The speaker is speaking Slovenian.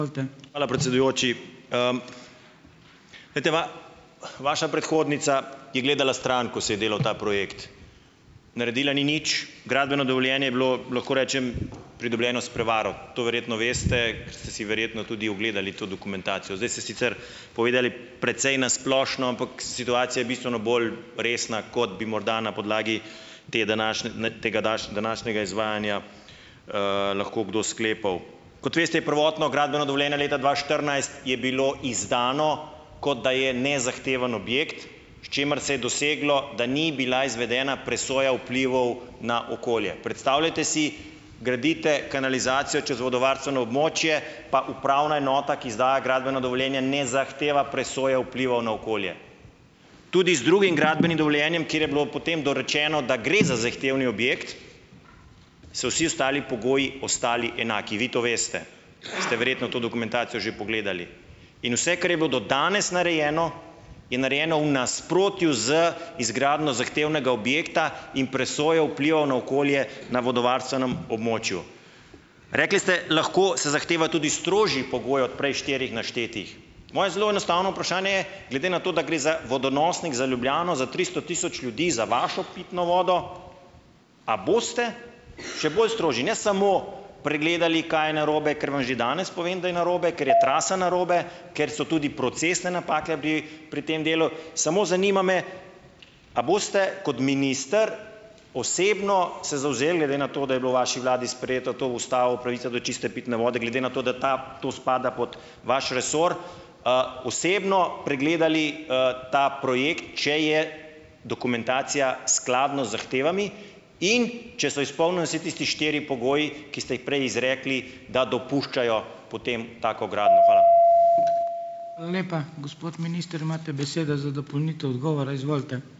Hvala, predsedujoči. Glejte, vaša predhodnica je gledala stran, ko se je delal ta projekt. Naredila ni nič. Gradbeno dovoljenje je bilo, lahko rečem, pridobljeno s prevaro. To verjetno veste, ker ste si verjetno tudi ogledali to dokumentacijo. Zdaj ste sicer povedali precej na splošno, ampak situacija je bistveno bolj resna, kot bi morda na podlagi te današnje tega današnjega izvajanja, lahko kdo sklepal. Kot veste, je prvotno gradbeno dovoljenje leta dva štirinajst je bilo izdano, kot da je nezahtevni objekt, s čimer se je doseglo, da ni bila izvedena presoja vplivov na okolje. Predstavljajte si, gradite kanalizacijo čez vodovarstveno območje, pa upravna enota, ki izdaja gradbeno dovoljenje, ne zahteva presoje vplivov na okolje. Tudi z drugim gradbenim dovoljenjem, kjer je bilo potem dorečeno, da gre za zahtevni objekt, so vsi ostali pogoji ostali enaki. Vi to veste, ste verjetno to dokumentacijo že pogledali. In vse, kar je bilo do danes narejeno, je narejeno v nasprotju z izgradnjo zahtevnega objekta in presojo vplivov na okolje na vodovarstvenem območju. Rekli ste, lahko se zahteva tudi strožji pogoj od prej štirih naštetih. Moje zelo enostavno vprašanje je, glede na to, da gre za vodonosnik, za Ljubljano, za triso tisoč ljudi, za vašo pitno vodo, a boste še bolj strožji, ne samo pregledali, kaj je narobe, ker vam že danes povem, da je narobe, ker je trasa narobe, ker so tudi procesne napake bi pri tem delu. Samo zanima me, a boste kot minister osebno se zavzeli glede na to, da je bilo v vaši vladi sprejeto to v ustavo, pravica do čiste pitne vode, glede na to, da ta to spada pod vaš resor, osebno pregledali, ta projekt, če je dokumentacija skladna z zahtevami, in če so izpolnjeni vsi tisti štiri pogoji, ki ste jih prej izrekli, da dopuščajo potem tako gradnjo. Hvala.